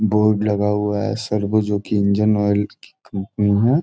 Board लगा हुआ है सर्बो जो कि इंजन आयल की कंपनी है।